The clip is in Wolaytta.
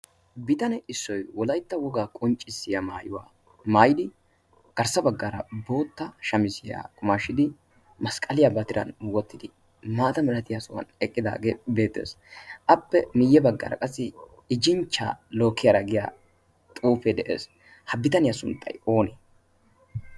bitane issoy wolaytta wogaa qonccissiya maayuwaa maayidi garssa baggaara bootta shamisiyaa qumaashshidi masqqaliyaa batiran wottidi maata milatiyaa sohuwan eqqidaagee beettees. appe miiyye baggaara qassi ijjinchcha lookkiyaara giya xuufe de'ees. ha bitaniyaa sunttay oonee?